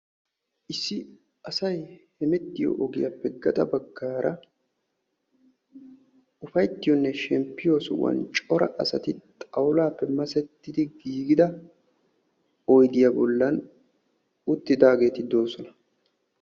Issi asay hemettiyo ogiyappe uppayttiyonne shemppiyo sohuwa cora asati xawullappe masseti giigida oyddiya bollan uttidaageti doosona.